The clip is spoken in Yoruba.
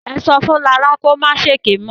Ẹ sọ fún Lará kó ma ṣèké mọ́.